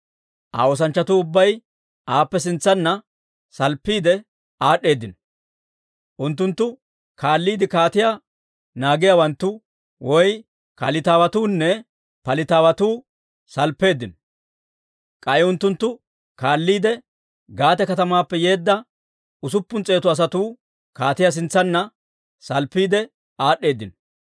Aa oosanchchatuu ubbay aappe sintsanna salppiide aad'd'eedino; unttuntta kaalliide kaatiyaa naagiyaawanttu (Kalitawatuunne Palitawatu) salppeeddino; k'ay unttuntta kaalliide Gaate katamaappe yeedda usuppun s'eetu asatuu, kaatiyaa sintsanna salppiide aad'd'eedino.